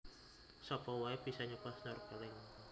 Sapa wae bisa nyoba snorkeling